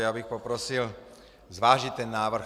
Já bych poprosil zvážit ten návrh.